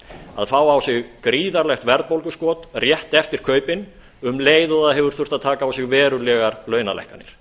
að fá á sig gríðarlegt verðbólguskot rétt eftir kaupin um leið og það hefur þurft að taka á sig verulegar launalækkanir